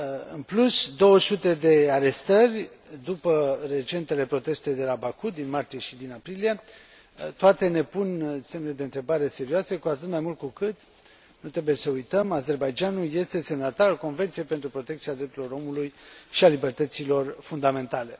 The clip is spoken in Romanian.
În plus, 200 de arestări după recentele proteste de la Baku din martie și din aprilie, toate ne pun semne de întrebare serioase, cu atât mai mult cu cât, nu trebuie să uităm, Azerbaidjanul este semnatarul Convenției pentru protecția drepturilor omului și a libertăților fundamentale.